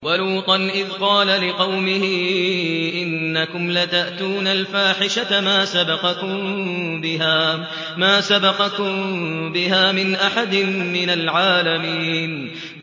وَلُوطًا إِذْ قَالَ لِقَوْمِهِ إِنَّكُمْ لَتَأْتُونَ الْفَاحِشَةَ مَا سَبَقَكُم بِهَا مِنْ أَحَدٍ مِّنَ الْعَالَمِينَ